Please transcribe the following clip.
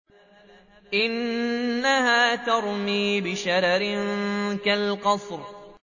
إِنَّهَا تَرْمِي بِشَرَرٍ كَالْقَصْرِ